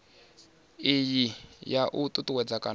iyi ya u ṱuṱuwedza kana